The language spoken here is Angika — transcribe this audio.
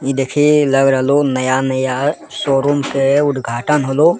इ देखी लग रहलो नया-नया शोरूम के उदघाटन होलो।